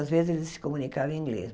Às vezes, ele se comunicava em inglês.